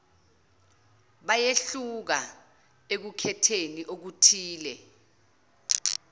bayehluka ekukhetheni okuthile